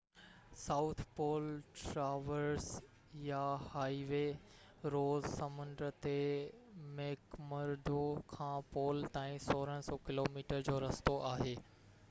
south Pole traverse يا highway Ross سمنڊ تي ميڪمرڊو کان پول تائين 1600 ڪلو ميٽر جو رستو آهي